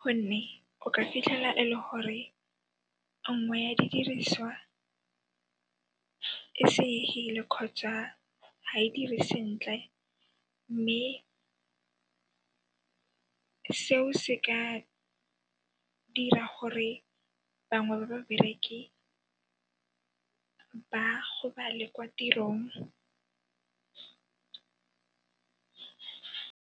gonne o ka fitlhela e le gore nngwe ya didiriswa e senyehile kgotsa ga e dire sentle mme seo se ka dira gore bangwe ba babereki ba gobale kwa tirong.